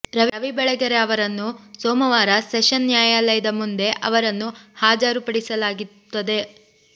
ರವಿ ಬೆಳಗೆರೆ ಅವರನ್ನು ಸೋಮವಾರ ಸೆಷನ್ ನ್ಯಾಯಾಲಯದ ಮುಂದೆ ಅವರನ್ನು ಹಾಜರುಪಡಿಸಲಾಗುತ್ತಿದೆ